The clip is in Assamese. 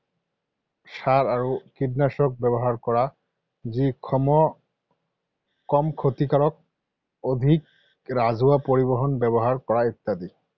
সাৰ আৰু কীটনাশক ব্যৱহাৰ কৰা যি কম ক্ষতিকাৰক, অধিক ৰাজহুৱা পৰিবহন ব্যৱহাৰ কৰা ইত্যাদি।